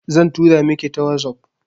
Zan tura miki ta wazof